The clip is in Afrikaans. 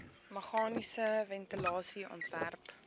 meganiese ventilasie ontwerp